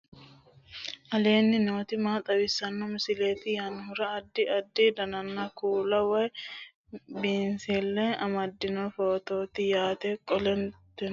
aleenni nooti maa xawisanno misileeti yinummoro addi addi dananna kuula woy biinsille amaddino footooti yaate qoltenno baxissannote konnira dancha gede assine haara danchate